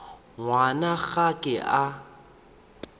ngwana ga a ke a